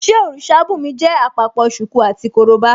Ṣé òrìṣà bùnmi jẹ́ àpapọ̀ ṣùkú àti korobá?